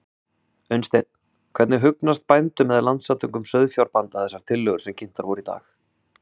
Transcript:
Unnsteinn, hvernig hugnast bændum eða Landssamtökum sauðfjárbænda þessar tillögur sem kynntar voru í dag?